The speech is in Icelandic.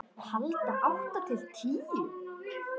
Handa átta til tíu